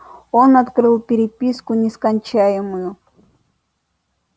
он открыл переписку нескончаемую